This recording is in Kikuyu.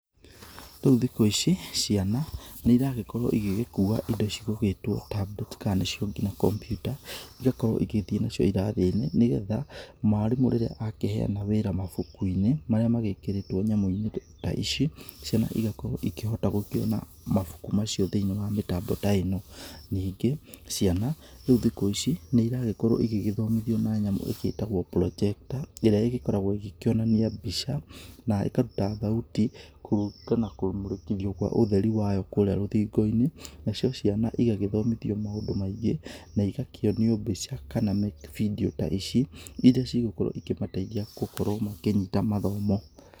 Rĩu thikũ ici ciana nĩ ĩragĩkorwo ĩgĩgĩkua indo cigũgĩtwo tablets ka nĩcio ngina kompyuta ĩgakorwo igathĩĩ nacio irathinĩ, nĩgetha mwarimũ rĩrĩa akĩheyana wĩra mabuku-inĩ marĩa magĩkĩrĩtwo nyamũ-inĩ ta ici ciana ĩgakorwo ĩkĩhota gũkĩona mabuku macio thĩiniĩ wa mĩtambo ta ĩno. Nyingĩ ciana rĩu thikũ ici nĩ ĩragĩkorwo ĩgĩgĩthomithio na nyamũ ĩgĩtagwo projector ĩrĩa ĩgĩkoragwo ĩgĩkĩonania mbica na ĩkaruta thauti kũrĩngana na kũmũrĩkithio gwa ũtheri wayo kũrĩa rũthingũ-inĩ. Nacio ciana ĩgagĩthomithio maũndũ maingĩ na ĩgakĩonio mbica kana video ta ici ĩrĩa cigakorwo ĩkĩmateithia gũkorwo makĩnyita mathomo.